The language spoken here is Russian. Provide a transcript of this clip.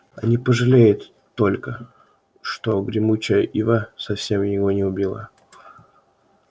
они пожалеют только что гремучая ива совсем его не убила